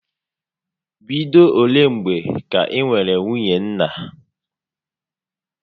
Bido olé mgbè kà I nwèrè nwunye nna?